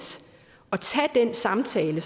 at tage den samtale